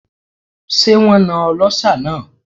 Ṣé wón na ọlọ́ṣà náà?